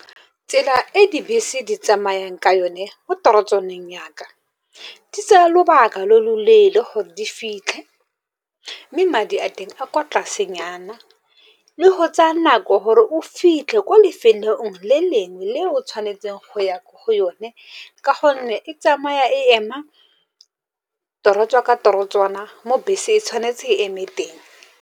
Tsela e dibese di tsamayang ka yone mo torotswaneng ya ka, di tsa lobaka lo loleele gore di fitlhe. Mme madi a teng a kwa tlase nyana, le go tsaya a ko gore o fitlhe ko lefelong le lengwe le o tshwanetseng go ya ko go yone, ka gonne e tsamaya e ema torotswa ka torotsana mo bese e tshwanetse e eme teng.